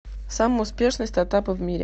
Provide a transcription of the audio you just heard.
самые успешные стартапы в мире